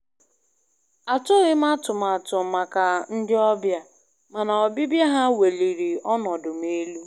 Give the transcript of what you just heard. Atụghị m atụmatụ maka ndị ọbịa, mana ọbịbịa ha weliri ọnọdụ m elu.